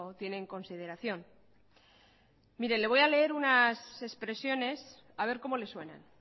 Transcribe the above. tiene en consideración le voy a leer unas expresiones a ver cómo le suenan